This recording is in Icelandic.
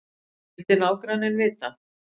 vildi nágranninn vita.